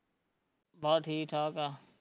ਬਸ ਠੀਕ ਠਾਕ ਆ